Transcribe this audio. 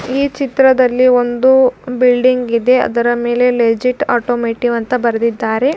ಈ ಚಿತ್ರದಲ್ಲಿ ವೊಂದು ಬಿಲ್ಡಿಂಗ್ ಇದೆ ಅದರಮೇಲೆ ಲೆಗೀತ್ ಆಟೊಮ್ಯಾಟಿವ್ ಅಂತ ಬರೆದಿದ್ದಾರೆ.